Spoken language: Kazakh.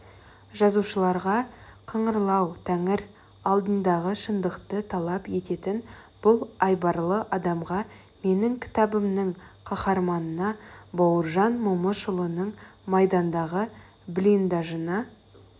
жазушыларға қыңырлау тәңір алдындағы шындықты талап ететін бұл айбарлы адамға менің кітабымның қаһарманына бауыржан момышұлының майдандағы блиндажына